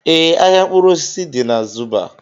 Ee, ahịa mkpụrụ osisi dị na Zuba